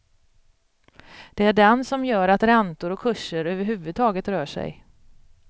Det är den som gör att räntor och kurser överhuvudtaget rör sig.